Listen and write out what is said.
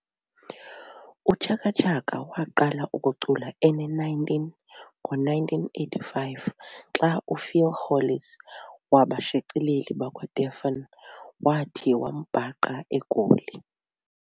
UChaka Chaka waqala ukucula ene-19 ngo-1985 xa uPhil Hollis wabashicileli bakwaDephon wathi wambhaqa e Goli.